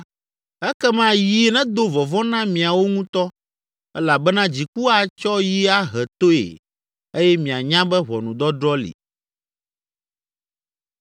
ekema yi nedo vɔvɔ̃ na miawo ŋutɔ elabena dziku atsɔ yi ahe toe eye mianya be ʋɔnudɔdrɔ̃ li.”